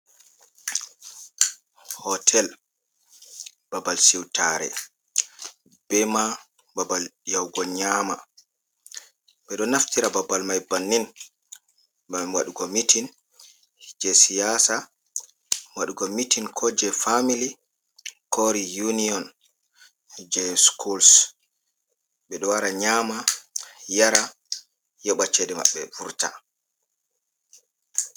Hootel babal siwtaare, be ma babal yahugo nyaama, ɓe ɗo naftira babal may, bannin ngam waɗugo mitin jey siyaasa, waɗugo mitin koo je famili, core uniyon jey sukuls, ɓe ɗo wara nyaama, yara yoɓa ceede maɓɓe vurta.